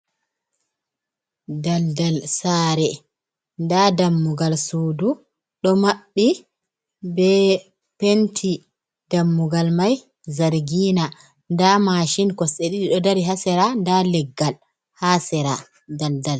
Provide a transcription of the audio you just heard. Daldal sare nda dammugal sudu do maɓɓi be penti dammugal mai zargina nda machine kosɗe ɗiɗi ɗo dari ha sera nda leggal ha sera daldal.